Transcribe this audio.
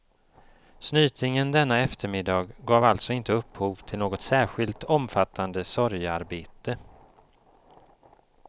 Snytingen denna eftermiddag gav alltså inte upphov till något särskilt omfattande sorgearbete.